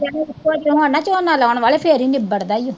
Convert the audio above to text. ਇਕੋ ਜੇ ਹੋਣ ਨਾ ਝੋਨਾ ਲਾਉਣ ਵਾਲੇ ਫਿਰ ਹੀ ਨਿਬੜਦਾ ਈ ਆ।